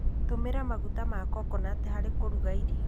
Tũmĩra maguta ma kokonati harĩ kũruga irio.